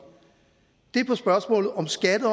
er i spørgsmålet om skat